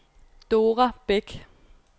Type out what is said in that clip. Dora Bæk